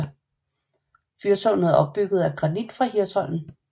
Fyrtårnet er bygget af granit fra Hirsholm